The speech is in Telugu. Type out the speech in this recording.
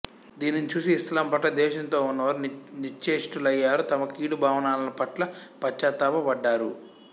దీనిని చూసి ఇస్లాంపట్ల ద్వేషంతోవున్నవారు నిశ్చేష్టులయ్యారు తమ కీడు భావనలపట్ల పశ్చాత్తాప పడ్డారు